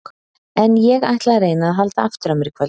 En ég ætla að reyna að halda aftur af mér í kvöld.